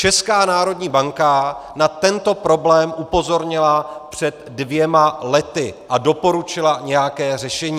Česká národní banka na tento problém upozornila před dvěma lety a doporučila nějaké řešení.